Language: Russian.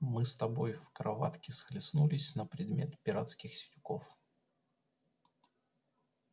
мы с тобой в кроватке схлестнулись на предмет пиратских сидюков